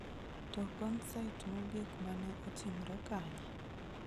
To konsait mogik ma ne otimre kanye?